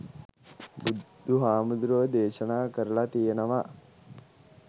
බුදුහාමුදුරුවෝ දේශනා කරළා තියෙනවා